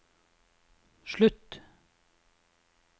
slutt